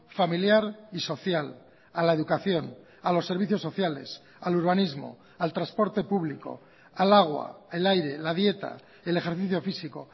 familiar y social a la educación a los servicios sociales al urbanismo al transporte público al agua el aire la dieta el ejercicio físico